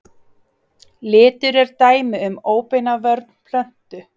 Litur er dæmi um óbeina vörn plöntu.